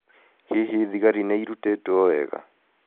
Hihi thigari nĩ irutĩtwo wega?